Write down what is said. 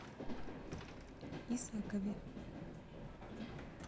исакове